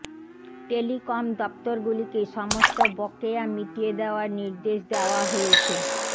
telecom দপ্তরগুলিকে সমস্ত বকেয়া মিটিয়ে দেওয়ার নির্দেশ দেওয়া হয়েছে